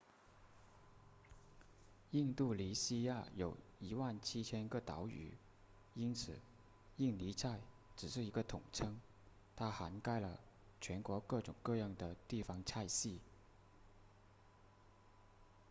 印度尼西亚有 17,000 个岛屿因此印尼菜只是一个统称它涵盖了全国各种各样的地方菜系